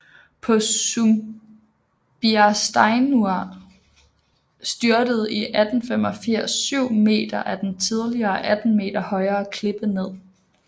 På Sumbiarsteinur styrtede i 1885 7 meter af den tidligere 18 meter højere klippe ned